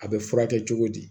A bɛ furakɛ cogo di